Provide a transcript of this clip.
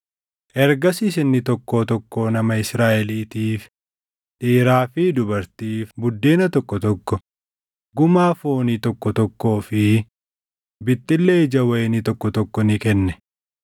Ergasiis inni tokkoo tokkoo nama Israaʼeliitiif, dhiiraa fi dubartiif buddeena tokko tokko, gumaa foonii tokko tokkoo fi bixxillee ija wayinii tokko tokko ni kenne.